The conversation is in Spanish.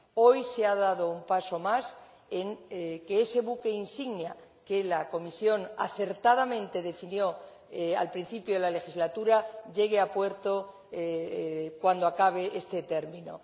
Hoy se ha dado un paso más para que ese buque insignia, que la Comisión acertadamente definió al principio de la legislatura, llegue a puerto cuando acabe este término.